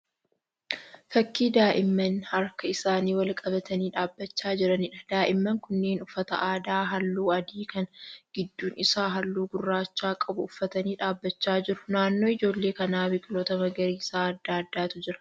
Fakkii daa'imman harka isaanii wal qabatanii dhaabbachaa jiraniidha. Daa'imman kunneen uffata aadaa halluu adii kan gidduun isaa halluu gurraacha qabu uffatanii dhaabbachaa jiru. Naannoo ijoollee kanaa biqiloota magariisa adda addaatu jira.